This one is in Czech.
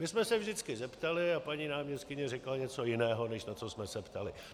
My jsme se vždycky zeptali a paní náměstkyně řekla něco jiného, než na co jsme se ptali.